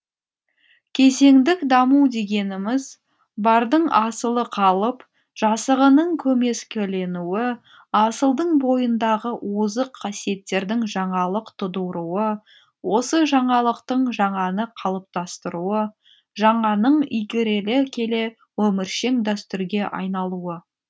кезеңдік даму дегеніміз бардың асылы қалып жасығының көмескіленуі асылдың бойындағы озық қасиеттердің жаңалық тудыруы осы жаңалықтың жаңаны қалыптастыруы жаңаның игеріле келе өміршең дәстүрге айналуы